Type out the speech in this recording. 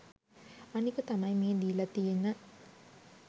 අනික තමයි මේ දීලා තියන